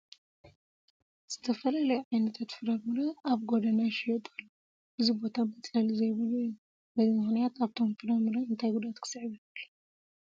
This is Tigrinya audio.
ዝተፈላለዩ ዓይነታት ፍረ ምረ ኣብ ጐደና ይሽየጡ ኣለዉ፡፡ እዚ ቦታ መፅለሊ ዘይብሉ እዩ፡፡ በዚ ምኽንያት ኣብቶም ፍረ ምረ እንታይ ጉድኣት ክስዕብ ይኽእል?